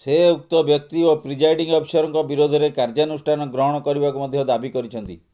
ସେ ଉକ୍ତ ବ୍ୟକ୍ତି ଓ ପ୍ରିଜାଇଣ୍ଡିଂ ଅଫିସରଙ୍କ ବିରୋଧରେ କାର୍ଯ୍ୟାନୁଷ୍ଠାନ ଗ୍ରହଣ କରିବାକୁ ମଧ୍ୟ ଦାବି କରିଛନ୍ତି